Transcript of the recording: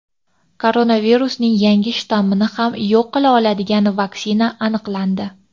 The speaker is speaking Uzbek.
Koronavirusning yangi shtammini ham yo‘q qila oladigan vaksina aniqlandi.